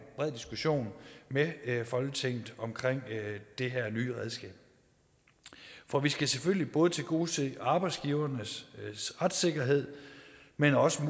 bred diskussion med folketinget om det her nye redskab for vi skal selvfølgelig både tilgodese arbejdsgivernes retssikkerhed men også